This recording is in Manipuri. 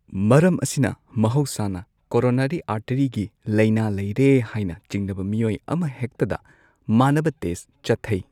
ꯃꯔꯝ ꯑꯁꯤꯅ ꯃꯍꯧꯁꯥꯅ, ꯀꯣꯔꯣꯅꯔꯤ ꯑꯥꯔꯇꯔꯤꯒꯤ ꯂꯥꯢꯅꯥ ꯂꯩꯔꯦ ꯍꯥꯏꯅ ꯆꯤꯡꯅꯕ ꯃꯤꯑꯣꯏ ꯑꯃꯍꯦꯛꯇꯗ ꯃꯥꯅꯕ ꯇꯦꯁꯠ ꯆꯠꯊꯩ꯫